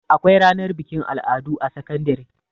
Akwai ranar bikin al'adu a sakandare.